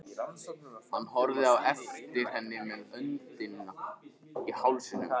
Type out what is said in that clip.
Hann horfði á eftir henni með öndina í hálsinum.